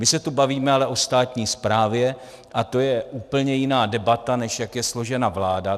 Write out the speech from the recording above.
My se tu bavíme ale o státní správě a to je úplně jiná debata, než jak je složena vláda.